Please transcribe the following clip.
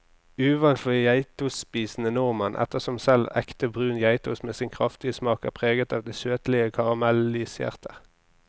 Uvant for geitostspisende nordmenn, ettersom selv ekte brun geitost med sin kraftige smak er preget av det søtlige karamelliserte.